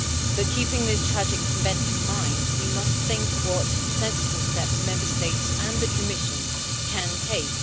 But keeping this tragic event in mind, we must think what sensible steps Member States and the Commission can take.